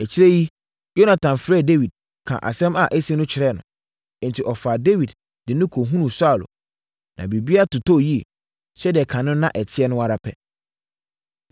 Akyire yi, Yonatan frɛɛ Dawid kaa asɛm a asi no kyerɛɛ no. Enti, ɔfaa Dawid de no kɔhunuu Saulo, na biribiara totɔɔ yie, sɛdeɛ kane no na ɛteɛ no ara pɛ.